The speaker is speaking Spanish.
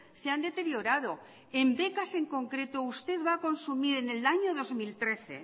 se han deteriorado en becas en concreto usted va a consumir en el año dos mil trece